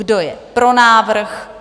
Kdo je pro návrh?